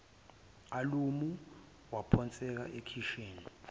alamu waphonseka ekheshini